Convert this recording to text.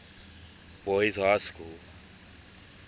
boys high school